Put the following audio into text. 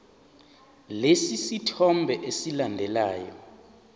lesi sithombe esilandelayo